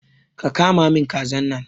Ka kama min kazan nan!